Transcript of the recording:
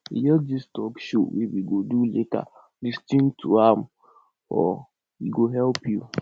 e get dis talk show wey we go do later lis ten to am for e go help you